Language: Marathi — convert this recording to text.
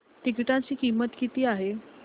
तिकीटाची किंमत किती